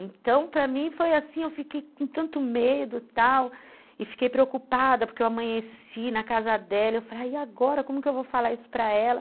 Então, para mim foi assim, eu fiquei com tanto medo e tal, e fiquei preocupada porque eu amanheci na casa dela e eu falei, e agora, como que eu vou falar isso para ela?